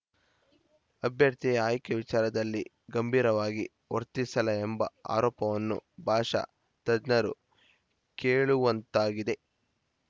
ಅಭ್ಯರ್ಥಿಯ ಆಯ್ಕೆ ವಿಚಾರದಲ್ಲಿ ಗಂಭೀರವಾಗಿ ವರ್ತಿಸಿಲ್ಲ ಎಂಬ ಆರೋಪವನ್ನು ಭಾಷಾ ತಜ್ಞರು ಕೇಳುವಂತಾಗಿದೆ